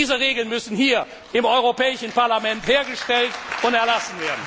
Und diese Regeln müssen hier im Europäischen Parlament hergestellt und erlassen werden!